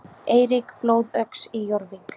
Eirík blóðöx í Jórvík.